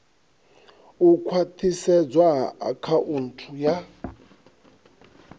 u khwathisedzwa ha akhaunthu ya